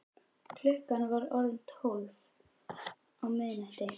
Klukkan var orðin tólf á miðnætti.